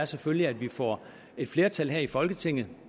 selvfølgelig er at vi får et flertal her i folketinget